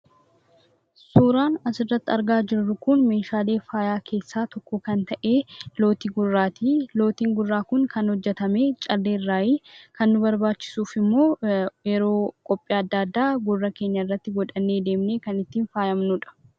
Suuraan asirratti argaa jirru kun meeshaalee faayaa keessaa tokko kan ta'e lootii gurraati. Lootiin gurraa kun kan hojjetame callee irraayii. Kan nuti barbaachisu immoo yeroo qophii adda addaa gurra keenya irratti godhannee deemnee kan ittiin faayamnuudha.